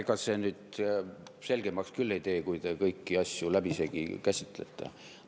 Ega see nüüd asja selgemaks küll ei tee, kui te kõiki asju läbisegi käsitlete.